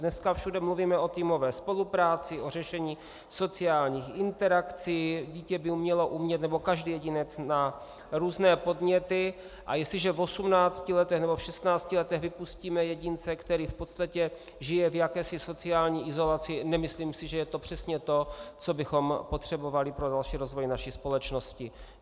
Dneska všude mluvíme o týmové spolupráci, o řešení sociálních interakcí, dítě by mělo umět - nebo každý jedinec má různé podněty, a jestliže v 18 letech nebo v 16 letech vypustíme jedince, který v podstatě žije v jakési sociální izolaci, nemyslím si, že je to přesně to, co bychom potřebovali pro další rozvoj naší společnosti.